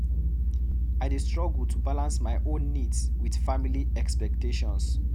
I dey struggle to balance my own needs with family expectations.